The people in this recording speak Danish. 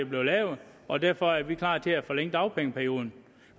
blev lavet og derfor er vi klar til at forlænge dagpengeperioden